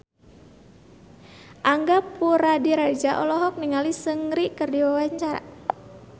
Angga Puradiredja olohok ningali Seungri keur diwawancara